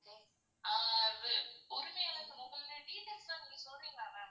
ஆஹ் அது உரிமையாளரின் முகம்ன்னு details லாம் கொஞ்சம் சொல்றீங்களா ma'a?